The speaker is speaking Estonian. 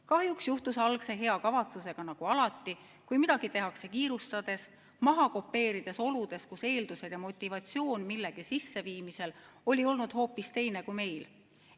Kahjuks juhtus algse hea kavatsusega nii nagu alati, kui midagi tehakse kiirustades, maha kopeerides oludest, kus eeldused ja motivatsioon millegi sisseviimisel oli olnud hoopis teine kui meil.